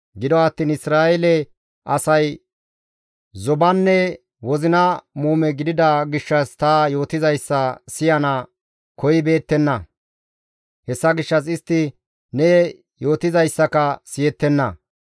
Gido attiin Isra7eele asay zobanne wozina muume gidida gishshas ta yootizayssa siyana koyibeettenna; hessa gishshas istti ne yootizayssaka siyettenna.